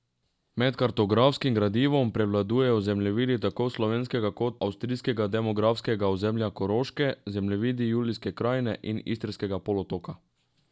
Med kartografskim gradivom prevladujejo zemljevidi tako slovenskega kot avstrijskega demografskega ozemlja Koroške, zemljevidi Julijske Krajine in Istrskega polotoka.